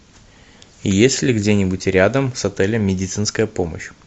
есть ли где нибудь рядом с отелем медицинская помощь